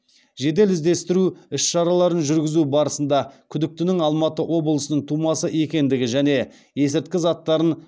жедел іздестіру іс шараларын жүргізу барысында күдіктінің алматы облысының тумасы екендігі және есірткі заттарын